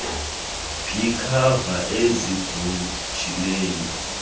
b iikhava ezigugileyo